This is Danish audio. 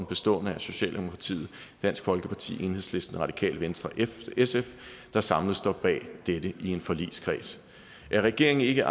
bestående af socialdemokratiet dansk folkeparti enhedslisten radikale venstre og sf der samlet står bag dette i en forligskreds at regeringen ikke